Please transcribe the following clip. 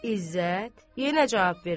İzzət, yenə cavab vermədi.